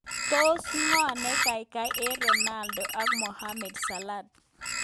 Tos ngo ne kaikai eng Ronaldo ak Mohamed Salah?